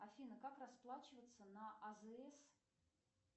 афина как расплачиваться на азс